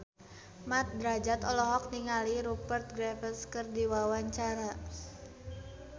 Mat Drajat olohok ningali Rupert Graves keur diwawancara